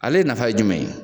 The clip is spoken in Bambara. Ale nafa ye jumɛn ye